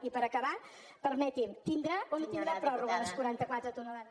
i per acabar permeti’m tindrà o no tindrà pròrroga les quaranta quatre tones